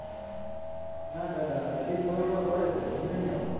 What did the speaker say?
ના દાદા હજી થોડો થોડો પડે છે હું નહીં આવું.